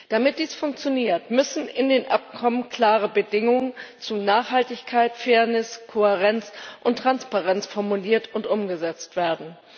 Damit dies funktioniert, müssen in den Abkommen klare Bedingungen zu Nachhaltigkeit, Fairness, Kohärenz und Transparenz formuliert und umgesetzt werden.